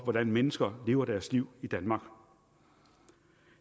hvordan mennesker lever deres liv i danmark